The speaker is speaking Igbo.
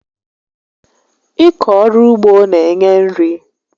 Ịkọ ọrụ ugbo n'enye nri